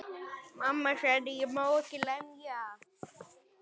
Amma gerði alltaf besta matinn.